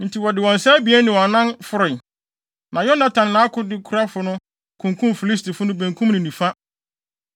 Enti wɔde wɔn nsa abien ne wɔn anan foroe, na Yonatan ne nʼakodekurafo no kunkum Filistifo no benkum ne nifa.